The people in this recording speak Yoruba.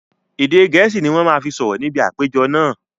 Èdè gẹ̀ẹ́sì ni wọn má fi sọ̀rọ̀ níbi àpéjọ náà